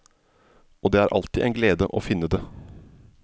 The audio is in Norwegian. Og det er alltid en glede å finne det.